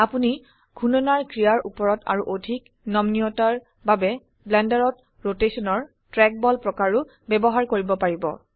আপোনি ঘুৰ্ণনাৰ ক্ৰিয়াৰ উপৰত আৰু অধিক নমনীয়তাৰ বাবে ব্লেন্ডাৰত ৰোটেশনৰ ট্ৰ্যাকবল প্ৰকাৰও ব্যবহাৰ কৰিব পাৰিব